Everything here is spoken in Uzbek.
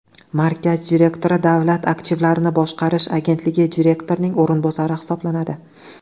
Markaz direktori Davlat aktivlarini boshqarish agentligi direktorining o‘rinbosari hisoblanadi.